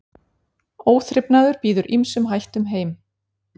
Óþrifnaður býður ýmsum hættum heim.